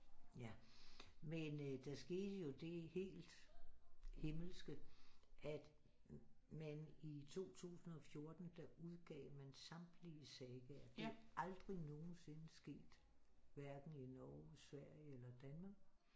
Ja men øh der skete jo det helt himmelske at man i 2014 der udgav man samtlige sagaer det er aldrig nogensinde sket hverken i Norge Sverige eller Danmark